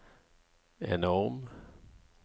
enorm